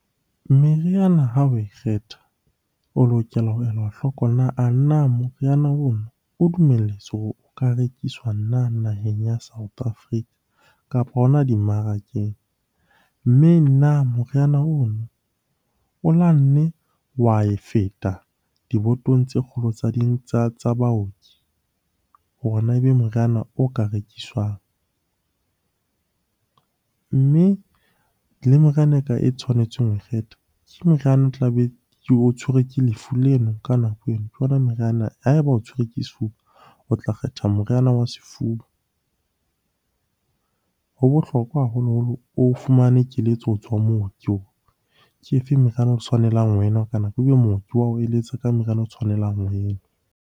Meriana ha oe kgetha, o lokela ho ela hloko a na moriana ono o dumelletswe hore o ka rekiswa na naheng ya South Africa kapa hona dimmarakeng? Mme na moriana ono o la nne wa e feta dibotong tse kgolo tse ding tsa baoki hore na ebe moriana o ka rekiswang? Mme le moriana eka e tshwanetseng ho ke moriana o tlabe o tshwerwe ke lefu leno ka nako eno. Ha eba o tshwerwe ke sefuba, o tla kgetha moriana wa sefuba. Ho bohlokwa haholoholo o fumane keletso ho tswa mooki hore ke e feng meriana o tshwanelang ho e nwa? Ebe mooki wa o eletsa ka meriana o tshwanelang ho e nwa.